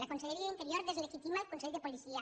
la conselleria d’interior deslegitima el consell de policia